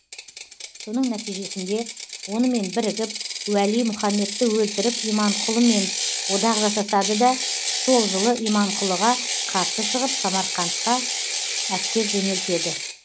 соның нәтижесінде онымен бірігіп уәли мұхаммедті өлтіріп иманқұлымен одақ жасасады да сол жылы иманқұлыға қарсы шығып самарқантқа әскер жөнелтеді